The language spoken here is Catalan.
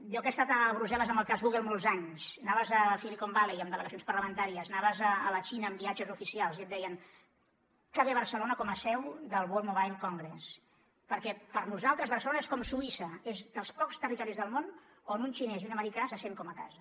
jo que he estat a brussel·les en el cas google molts anys anaves a silicon valley amb delegacions parlamentàries anaves a la xina en viatges oficials i et deien que bé barcelona com a seu del mobile world congress perquè per a nosaltres barcelona és com suïssa és dels pocs territoris del món on un xinès i un americà se sent com a casa